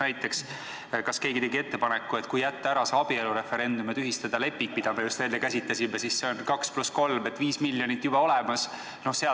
Näiteks, kas keegi tegi ettepaneku, et kui jätta ära see abielureferendum ja tühistada leping, mida me just enne käsitlesime, siis on see 2 + 3, st 5 miljonit juba olemas?